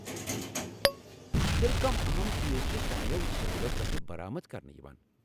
ٹھیک چُھ ! تیٚلہ کٔم اہم چیز چھِ سانیٚو سٲحِلو پیٹھہٕ برآمد کرنہٕ یوان۔